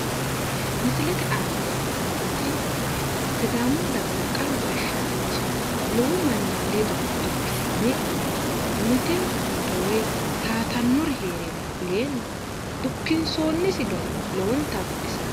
Misilete aana leeltannoti sidaamuhu dagara qaru gashshaanchi lowo manni ledo dukkisame mitere towaatannori heerenna fuleenna dukkinsoonisi gari lowonta baxisanno.